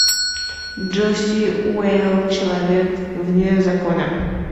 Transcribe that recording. джоси уэйлс человек вне закона